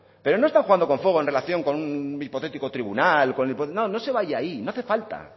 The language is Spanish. pero no están jugando con fuego en relación con un hipotético tribunal no se vaya ahí no hace falta